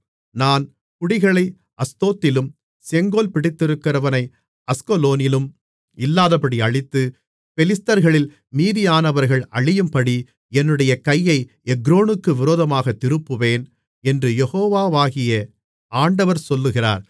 நான் குடிகளை அஸ்தோத்திலும் செங்கோல் பிடித்திருக்கிறவனை அஸ்கலோனிலும் இல்லாதபடி அழித்து பெலிஸ்தர்களில் மீதியானவர்கள் அழியும்படி என்னுடைய கையை எக்ரோனுக்கு விரோதமாகத் திருப்புவேன் என்று யெகோவாகிய ஆண்டவர் சொல்லுகிறார்